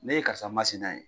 Ne ye karisa masina ye,